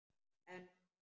En mamma!